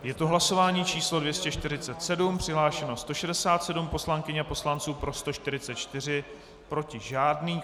Je to hlasování číslo 247, přihlášeno 167 poslankyň a poslanců, pro 144, proti žádný.